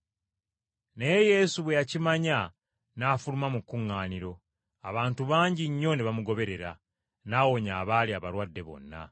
Naye Yesu bwe yakimanya n’afuluma mu kuŋŋaaniro, abantu bangi nnyo ne bamugoberera, n’awonya abaali abalwadde bonna,